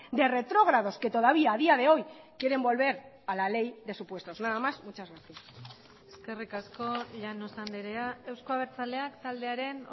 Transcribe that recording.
de retrógrados que todavía a día de hoy quieren volver a la ley de supuestos nada más muchas gracias eskerrik asko llanos andrea euzko abertzaleak taldearen